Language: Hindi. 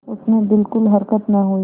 उसमें बिलकुल हरकत न हुई